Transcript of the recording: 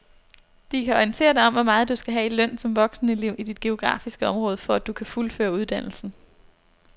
De kan orientere dig om hvor meget du skal have i løn som voksenelev i dit geografiske område, for at du kan fuldføre uddannelsen.